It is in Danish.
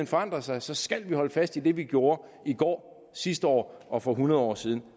forandrer sig så skal vi holde fast i det vi gjorde i går sidste år og for hundrede år siden